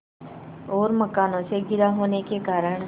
और मकानों से घिरा होने के कारण